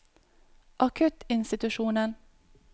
akuttinstitusjonen